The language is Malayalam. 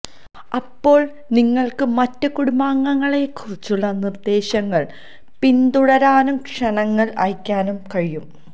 അപ്പോൾ നിങ്ങൾക്ക് മറ്റ് കുടുംബാംഗങ്ങളെക്കുറിച്ചുള്ള നിർദ്ദേശങ്ങൾ പിന്തുടരാനും ക്ഷണങ്ങൾ അയയ്ക്കാനും കഴിയും